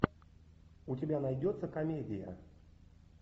у тебя найдется комедия